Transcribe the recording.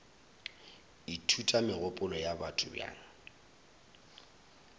ithuta megopolo ya batho bjang